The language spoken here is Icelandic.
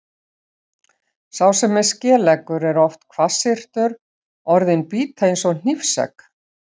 Sá sem er skeleggur er oft hvassyrtur, orðin bíta eins og hnífsegg.